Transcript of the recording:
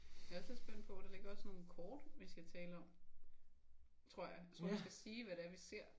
Jeg er også lidt spændt på hvad der ligger af sådan nogle kort vi skal tale om. Tror jeg. Hvor vi skal sige hvad det er vi ser